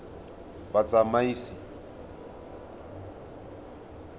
batsamaisi